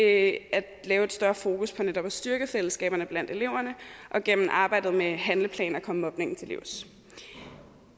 at have et større fokus på netop at styrke fællesskaberne blandt eleverne og gennem arbejdet med handleplaner at komme mobningen til livs